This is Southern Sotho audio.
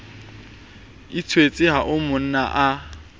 ithwetse ha o mmona a